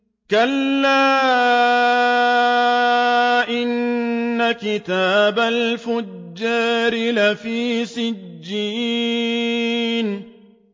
كَلَّا إِنَّ كِتَابَ الْفُجَّارِ لَفِي سِجِّينٍ